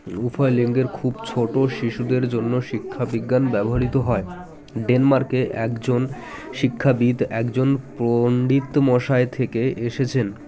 উভয় লিঙ্গের খুব ছোটো শিশুদের জন্য শিক্ষা বিজ্ঞান ব্যবহৃত হয় ডেন্মর্কের একজন শিক্ষাবিদ একজন প-ন্ডিত মশায়ের থেকে এসেছেন